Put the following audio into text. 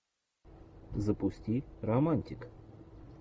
запусти романтик